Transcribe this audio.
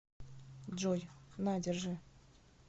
джой на держи